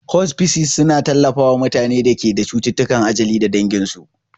Hospices suna tallafawa mutanen da ke da cututtukan ajali da danginsu.